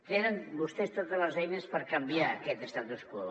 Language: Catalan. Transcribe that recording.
tenen vostès totes les eines per canviar aquest statu quo